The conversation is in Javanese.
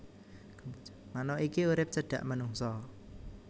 Manuk iki urip cedhak manungsa